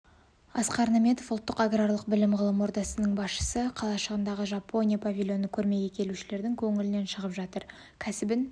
асқар наметов ұлттық аграрлық білім-ғылым орталығының басшысы қалашығындағы жапония павильоны көрмеге келушілердің көңілінен шығып жатыр нәсібін